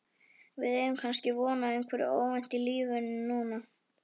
Við eigum kannski von á einhverju óvæntu í lífinu núna?